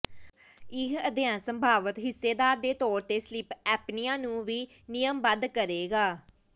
ਇਹ ਅਧਿਐਨ ਸੰਭਾਵਤ ਹਿੱਸੇਦਾਰ ਦੇ ਤੌਰ ਤੇ ਸਲੀਪ ਐਪਨਿਆ ਨੂੰ ਵੀ ਨਿਯਮਬੱਧ ਕਰੇਗਾ